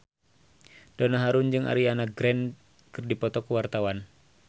Donna Harun jeung Ariana Grande keur dipoto ku wartawan